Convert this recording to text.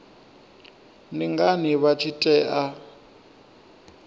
ndi ngani vha tshi tea